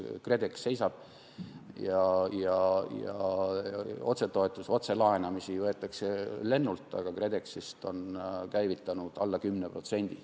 KredExi tegevus seisab, otsetoetusi, otselaene võetakse lennult, aga KredExist on käivitatud alla 10%.